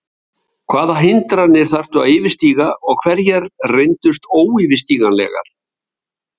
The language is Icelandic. Hvaða hindranir þurftu þær að yfirstíga og hverjar reyndust óyfirstíganlegar?